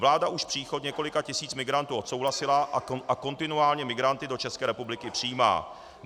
Vláda už příchod několika tisíc migrantů odsouhlasila a kontinuálně migranty do České republiky přijímá.